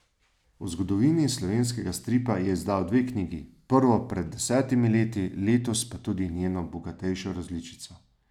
O zgodovini slovenskega stripa je izdal dve knjigi, prvo pred desetimi leti, letos pa tudi njeno bogatejšo različico.